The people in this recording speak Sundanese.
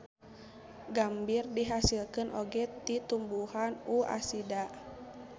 Gambir dihasilkeun oge ti tumbuhan U. acida.